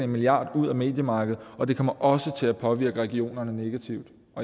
milliard ud af mediemarkedet og det kommer også til at påvirke regionerne negativt